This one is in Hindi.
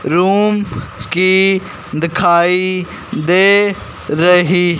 रूम की दिखाई दे रही- -